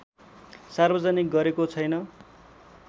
सार्वजनिक गरेको छैन